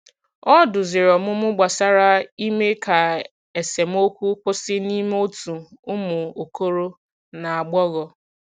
Ọ duzìrì ọmụmụ gbasàrà ime ka esemokwu kwụsị n’ime òtù umu okoro na agbogho.